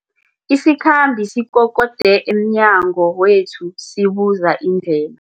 Isikhambi sikokode emnyango wethu sibuza indlela.